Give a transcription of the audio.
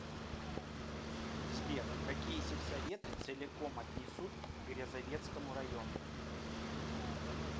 сбер какие сельсоветы целиком отнесут к грязовецкому району